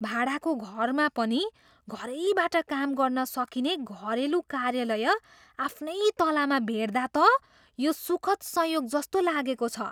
भाडाको घरमा पनि घरैबाट काम गर्न सकिने घरेलु कार्यालय आफ्नै तलामा भेट्दा त यो सुखद् संयोग जस्तो लागेको छ।